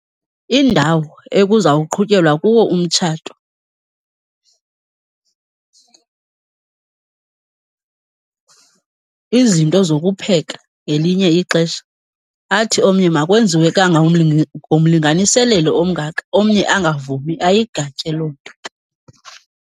Indawo ekuzawuqhutyelwa kuwo umtshato, izinto zokupheka ngelinye ixesha. Athi omnye makwenziwe ngomlinganiselelo omngaka omnye angavumi, ayigatye loo nto.